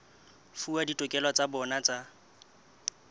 fuwa ditokelo tsa bona tsa